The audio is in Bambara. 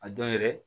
A dɔn yɛrɛ